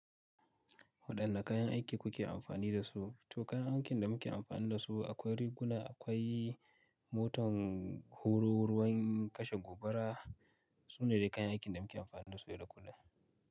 Waɗanne kayan aiki kuke amfani da su? To kayan aikin da muke amfani da su akwai riguna, akwai motar horo, ruwan kashe gobara. Su ne dai kayan aikin da muke amfani da su yadda kullum.